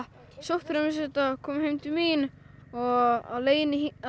sótthreinsuðum þetta komum heim til mín og á leiðinni